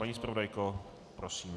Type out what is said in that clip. Paní zpravodajko, prosím.